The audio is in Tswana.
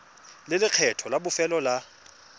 le lekgetho la bofelo la